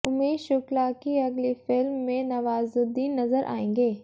उमेश शुक्ला की अगली फिल्म में नवाजुद्दीन नजर आएंगे